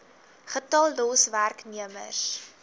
getal los werknemers